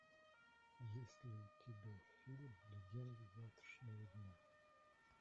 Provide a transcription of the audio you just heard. есть ли у тебя фильм легенды завтрашнего дня